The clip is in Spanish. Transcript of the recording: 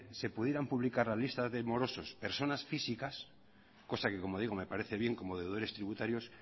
se pudieran publicar las listas de morosos personas físicas cosa que como digo me parece bien como deberes tributarios